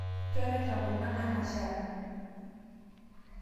Keraita kuna anashara